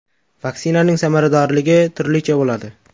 Vaksinaning samaradorligi turlicha bo‘ladi.